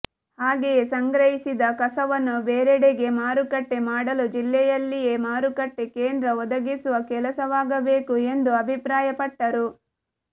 ಹಾಗೆಯೇ ಸಂಗ್ರಹಿಸಿದ ಕಸವನ್ನು ಬೇರೆಡೆಗೆ ಮಾರುಕಟ್ಟೆ ಮಾಡಲು ಜಿಲ್ಲೆಯಲ್ಲಿಯೇ ಮಾರುಕಟ್ಟೆ ಕೇಂದ್ರ ಒದಗಿಸುವ ಕೆಲಸವಾಗಬೇಕು ಎಂದು ಅಭಿಪ್ರಾಯಪಟ್ಟರು